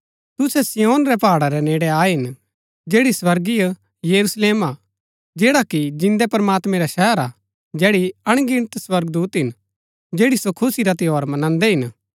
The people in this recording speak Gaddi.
तुसै सिय्योन रै पहाड़ा रै नेड़ै आये हिन जैड़ी स्वर्गीय यरुशलेम हा जैड़ा कि जिन्दै प्रमात्मैं रा शहर हा जैड़ी अणगिनत स्वर्गदूत हिन जैड़ी सो खुशी रा त्यौहार मंनादै हिन